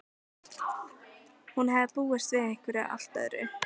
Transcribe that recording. Hún hafði búist við einhverju allt öðru.